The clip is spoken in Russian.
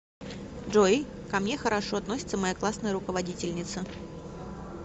джой ко мне хорошо относится моя классная руководительница